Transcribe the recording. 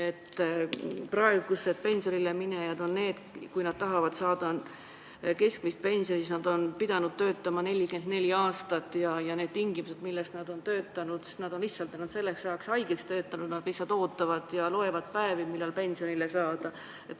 Kui praegused pensionile minejad tahavad saada keskmist pensioni, siis nad on pidanud töötama 44 aastat ja need tingimused, milles nad on töötanud – nad on lihtsalt ennast selleks ajaks haigeks töötanud ning loevad päevi, millal pensionile saab.